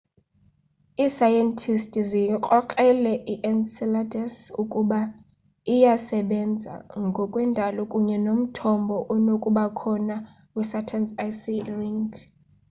iisayentisti ziyikrokrele i-enceladus ukuba iyasebena ngokwe ndalo kunye nomthombo onokubakhona wesaturn's icy e ring